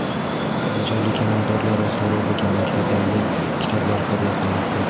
Andijonlik amaldorlar o‘zlari o‘qigan maktablarga kitoblar hadya qilmoqda.